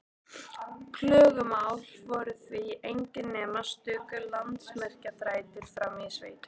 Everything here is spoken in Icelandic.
Klögumál voru því engin nema stöku landamerkjaþrætur frammi í sveitum.